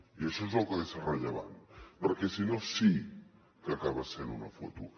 i això és el que ha de ser rellevant perquè si no sí que acaba sent una foto